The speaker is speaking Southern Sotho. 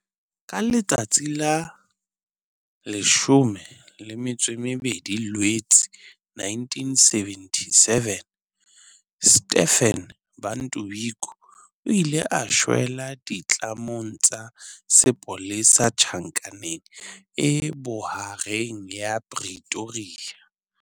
Ka letsatsi la 12 Loetse 1977, Stephen Bantu Biko o ile a shwela ditlamong tsa sepolesa Tjhankaneng e Bohareng ya Pretoria.